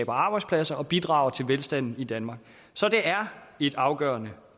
og arbejdspladser og bidrager til velstanden i danmark så det er et afgørende